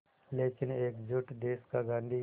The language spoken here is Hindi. लेकिन एकजुट देश का गांधी